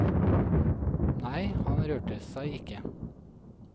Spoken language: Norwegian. Nei, han rørte seg ikke.